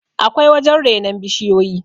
akwai wajen renon bishiyoyi